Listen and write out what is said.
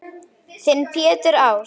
Þinn Pétur Ás.